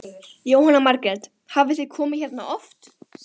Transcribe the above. Jóhanna Margrét: Hafið þið komið hérna oft?